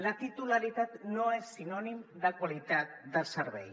la titularitat no és sinònim de qualitat del servei